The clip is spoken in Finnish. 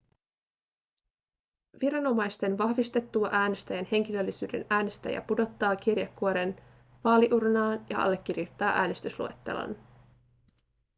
viranomaisten vahvistettua äänestäjän henkilöllisyyden äänestäjä pudottaa kirjekuoren vaaliuurnaan ja allekirjoittaa äänestysluettelon